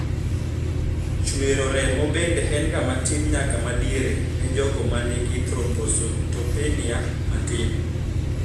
Chwero remo bende en ga matin nyaka madiere ne jogo manigi thrombocytopenia matin